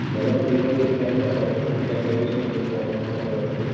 माझं पण resolution tally झालं ते खूप कॅलकुलेशन होते पॉईंट मध्ये वैगेरे